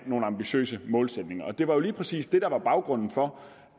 nogle ambitiøse målsætninger og det var jo lige præcis det der var baggrunden for